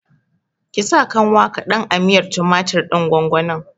Ki sa kanwa kaɗan a miyar tumatir ɗin gwangwanin!